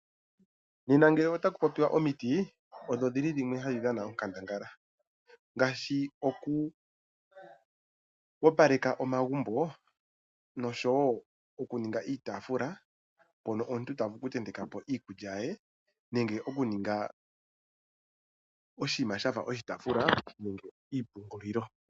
Nena ngele its ku popiwa omiti, odho dhimwe tadhi dhana onkandangala ngaashi oku opaleka omagumbo nosho wo okuninga iiyafula, mpono omuntu ta vulu oku ntentekapo iikulya ye nenge okuninge oku ninga oshinima shaka oshi taafula sho shi pungulilo.